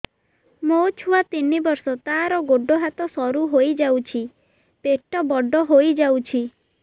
ମୋ ଛୁଆ ତିନି ବର୍ଷ ତାର ଗୋଡ ହାତ ସରୁ ହୋଇଯାଉଛି ପେଟ ବଡ ହୋଇ ଯାଉଛି